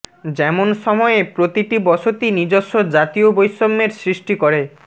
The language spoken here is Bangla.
যেমন সময়ে প্রতিটি বসতি নিজস্ব জাতীয় বৈষম্যের সৃষ্টি করে